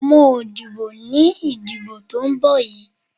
Mi ò dìbò ní ìdìbò tó ń bọ̀ yìí.